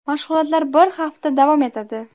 Mashg‘ulotlar bir hafta davom etadi.